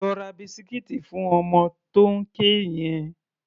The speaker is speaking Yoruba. Lọ ra bisikíìtì fún ọmọ tó ń ké yẹn!